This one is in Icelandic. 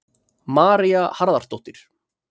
María Harðardóttir.